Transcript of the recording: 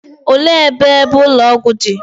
Olee ebe ebe ụlọ ọgwụ dị?